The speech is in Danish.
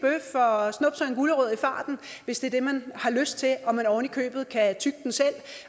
gulerod i farten hvis det er det man har lyst til og at man ovenikøbet kan tygge den selv